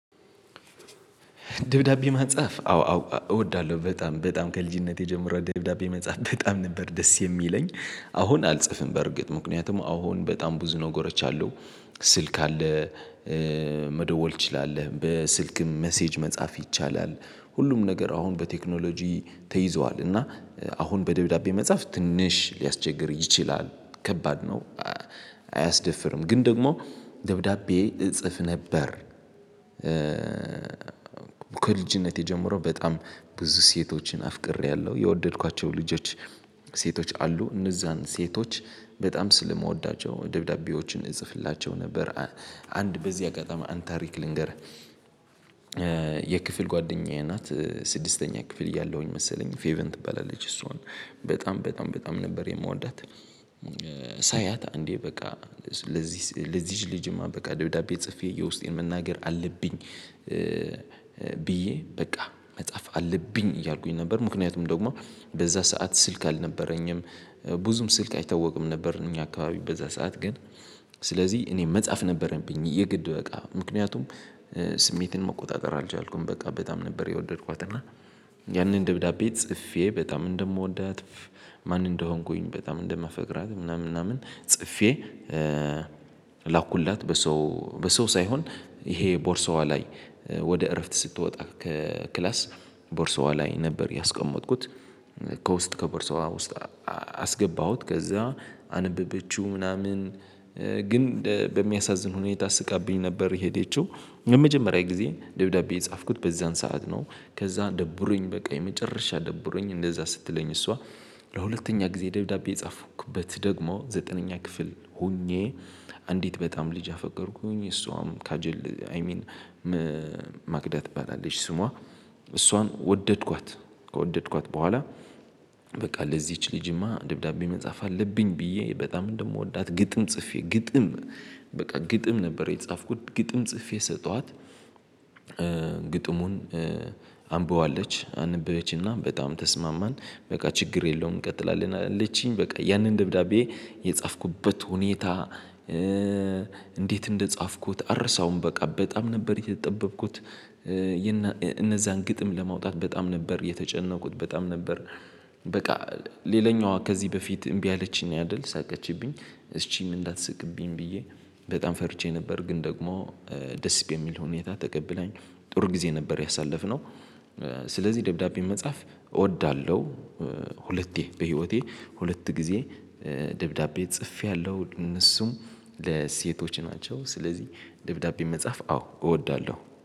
ደብዳቤ ማጻፍ አዎ እወዳለሁ በጣም በጣም ከልጅነቴ ጀምሮ ደብዳቤ መጻፍ በጣም ነበር ደስ የሚለኝ አሁን አልጽፍም በርግጥ ምክንያቱም አሁን በጣም ብዙ ነገሮች አለው ስልክ አለ መደወል ትችላለህ በስልክም መሴጅ መጻፍ ይቻላል ሁሉም ነገር አሁን በቴክኖሎጂ ተይዟል እና አሁን በደብዳቤ መጻፍ ትንሽ ሊያስቸግር ይችላል ከባድ ነው አያስደፍርም ግን ደግሞ ደብዳቤ እጽፍ ነበር ከልጅነቴ ጀምሮ በጣም ብዙ ሴቶችን አፍቅሬያለሁ የወደድኳቸው ልጆች ሴቶች አሉ እነዛን ሴቶች በጣም ስለምወዳቸው ደብዳቤዎችን እጽፍላቸው ነበር አንድ በዚህ አገጠማ አንድ ታሪክ ልንገርህ የክፍል ጓደኛዬ ናት ስድስተኛ ክፍል እያለሁኝ መሰለኝ ፌቨን ትባላለች እሱን በጣም በጣም በጣም ነበር የምወዳት ሳያት እንዴ በቃ ለዚህ ለዚህች ልጅማ በቃ ደብዳቤ ጽፌ የውስጤን መናገር አለብኝ ብዬ በቃ መጻፍ አለብኝ እያልኩኝ ነበር ምክንያቱም ደግሞ በዛ ሰዓት ስልክ አልነበረኝም ብዙም ስልክ አይታወቅም ነበር እኛ አካባቢ በዛ ሰዓት ግን ስለዚህ እኔ መጻፍ ነበረኝ የግድ በቃ ምክንያቱም ስሜትን መቆጣጠር አልቻልኩም በቃ በጣም ነበር የወደድኳት እና ያንን ደብዳቤ ጽፌ በጣም እንደምወዳት ማን እንደሆንኩኝ በጣም እንደምፈቅራት ምናምን ምናምን ጽፌ ላኩላት በሰው በሰው ሳይሆን ይሄ ቦርሳዋ ላይ ወደ እረፍት ስትወጣ ከክላስ ቦርሳዋ ላይ ነበር ያስቀመጥኩት ከውስጥ ከቦርሳዋ ውስጥ አስገባሁት ከዛ አነበበችው ምናምን ግን በሚያሳዝን ሁኔታ ስቃብኝ ነበር የሄደችው የመጀመሪያ ጊዜ ደብዳቤ የጻፍኩት በዛን ሰዓት ነው ከዛ ደብሮኝ በቃ የመጨረሻ ደብሮኝ እንደዛ ስትለኝ እሷ ለሁለተኛ ጊዜ ደብዳቤ የጻፍኩበት ደግሞ ዘጠነኛ ክፍል ሆኜ አንዲት በጣም ልጅ አፈቀርኩኝ እሷም ካጀል አይ ሚን ማክዳ ትባላለች ስሟ እሷን ወደድኳት ከወደድኳት በኋላ በቃ ለዚች ልጅማ ደብዳቤ መጻፍ አለብኝ ብዬ በጣም እንደምወዳት ግጥም ጽፌ ግጥም በቃ ግጥም ነበር የተጻፍኩት ግጥም ጽፌ ሰጧት ግጥሙን አንብበዋለች አንብበችና በጣም ተስማማን በቃ ችግር የለውም እንቀጥላለን አለችኝ በቃ ያንን ደብዳቤ የጻፍኩበት ሁኔታ እንዴት እንደጻፍኩት አርሳውም በቃ በጣም ነበር የተጠበብኩት እነዛን ግጥም ለማውጣት በጣም ነበር የተጨነቁት በጣም ነበር በቃ ሌላኛዋ ከዚህ በፊት እምቢ አለችኝ ነው ያደል ሳቀችብኝ እሺም እንዳትስቅብኝ ብዬ በጣም ፈርቼ ነበር ግን ደግሞ ደስ በሚል ሁኔታ ተቀብለኛል ጥሩ ጊዜ ነበር ያሳለፍነው ስለዚህ ደብዳቤ መጻፍ እወዳለሁ ሁለቴ በህይወቴ ሁለት ጊዜ ደብዳቤ ጽፌያለሁ እነሱም ለሴቶች ናቸው ስለዚህ ደብዳቤ መጻፍ አዎ እወዳለሁ።